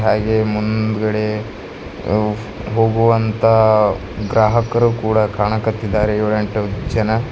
ಹಾಗೆ ಮುಂದ್ಗಡೆ ಹೋಗುವಂತ ಗ್ರಾಹಕರು ಕೂಡ ಕಾಣಕತ್ತಿದ್ದಾರೆ ಏಳೆಂಟು ಜನ.